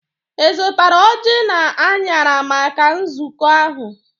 Ị zụtara ọjị na anyara maka nzukọ ahụ?